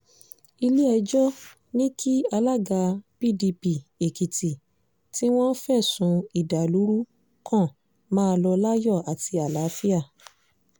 ilé-ẹjọ́ ní kí alága pdp èkìtì tí wọ́n fẹ̀sùn ìdàlúrú kan máa lọ láyọ̀ àti àlàáfíà